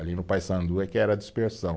Ali no Paissandu é que era a dispersão.